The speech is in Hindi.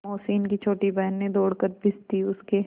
मोहसिन की छोटी बहन ने दौड़कर भिश्ती उसके